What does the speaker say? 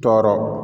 Tɔɔrɔ